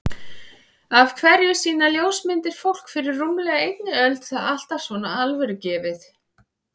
Af hverju sýna ljósmyndir fólk fyrir rúmlega einni öld það alltaf svo alvörugefið?